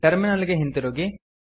terminal ಗೆ ಹಿಂತಿರುಗಿ